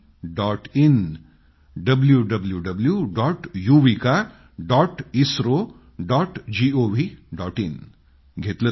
in लिहून घेतलं ना